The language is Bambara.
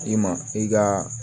I ma i ka